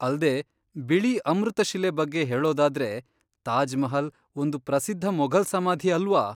ಅಲ್ದೇ, ಬಿಳಿ ಅಮೃತಶಿಲೆ ಬಗ್ಗೆ ಹೇಳೋದಾದ್ರೆ, ತಾಜ್ ಮಹಲ್ ಒಂದು ಪ್ರಸಿದ್ಧ ಮೊಘಲ್ ಸಮಾಧಿ ಅಲ್ವಾ?